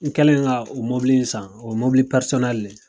N kɛlen ka o mɔbili in san, o ye mɔbili le ye.